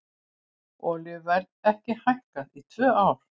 Olíuverð ekki hærra í tvö ár